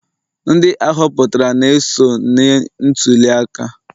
Ndị ahoputara na-eso n'ntuli aka